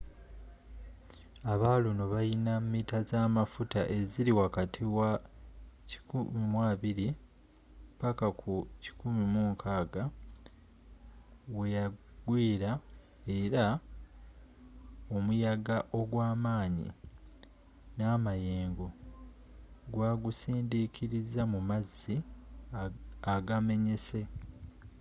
aba luno bayina mita zamafuta eziri wakati wa 120-160 weyagwiiera era omuyaga ogwamaanyi namayengo gwagusindikiriza mu mazzi agamenyese